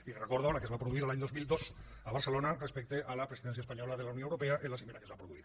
li recordo la que es va produir l’any dos mil dos a barcelona respecte a la presidència espanyola de la unió europea en la cimera que es va produir